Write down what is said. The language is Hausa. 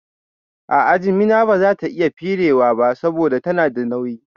A'a, jimina bazata iya firewa ba saboda tana da nauyi